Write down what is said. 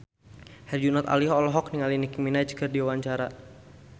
Herjunot Ali olohok ningali Nicky Minaj keur diwawancara